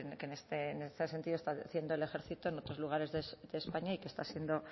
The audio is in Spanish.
que en este sentido está haciendo el ejército en otros lugares de españa y que está siendo